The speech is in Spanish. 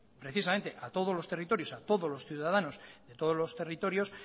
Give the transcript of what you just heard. precisamente a todos los territorios a todos los ciudadanos de todos los territorios